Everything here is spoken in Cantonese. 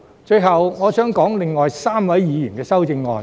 最後，我想談談另外3位議員的修正案。